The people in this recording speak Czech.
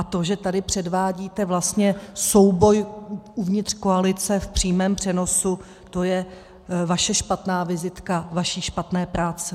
A to, že tady předvádíte vlastně souboj uvnitř koalice v přímém přenosu, to je vaše špatná vizitka vaší špatné práce.